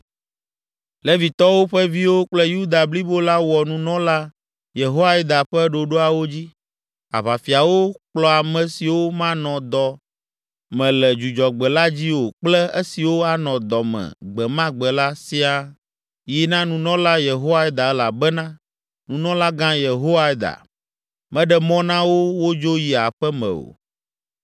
Levitɔwo ƒe viwo kple Yuda blibo la wɔ nunɔla Yehoiada ƒe ɖoɖoawo dzi. Aʋafiawo kplɔ ame siwo manɔ dɔ me le Dzudzɔgbe la dzi o kple esiwo anɔ dɔ me gbe ma gbe la siaa yi na nunɔla Yehoiada elabena nunɔlagã Yehoiada, meɖe mɔ na wo wodzo yi aƒe me o.